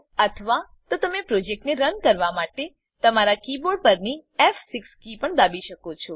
અથવા તો તમે પ્રોજેક્ટને રન કરાવવા માટે તમારા કીબોર્ડ પરની ફ6 કી પણ દાબી શકો છો